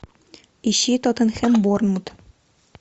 ищи тоттенхэм борнмут